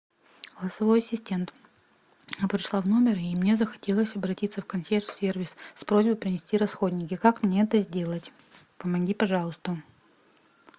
голосовой ассистент пришла в номер и мне захотелось обратиться в консьерж сервис с просьбой принести расходники как мне это сделать помоги пожалуйста